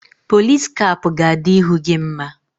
Pọlis kap ga-adị ihu gị mma